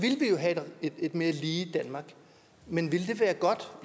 have et mere lige danmark men ville det være godt